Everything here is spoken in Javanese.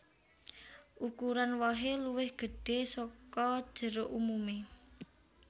Ukuran wohè luwih gedhè saka jeruk umumè